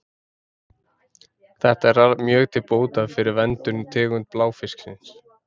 Þetta er mjög til bóta fyrir verndun tegunda bláfisksins.